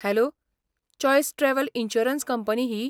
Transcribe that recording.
Hello, choice travel insurance company he?